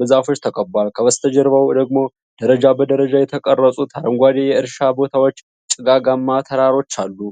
በዛፎች ተከቧል። ከበስተጀርባው ደግሞ ደረጃ በደረጃ የተቀረጹት አረንጓዴ የእርሻ ቦታዎችና ጭጋጋማ ተራሮች አሉን?